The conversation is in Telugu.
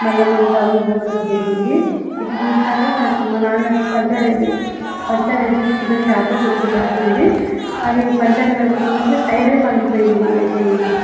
మల్ల మెం టౌన్ కి పోవడం జరిగింది ఇది చూస్తుంటే మా నాన్న పున్చర్సి పంచేర్ వేపించుకున్న షాప్ గుర్తుకొస్తుంది అది పంచేర్ కాకపోయినా టైరేయ్ పగిలిపోయింది మదైతే ఇలా.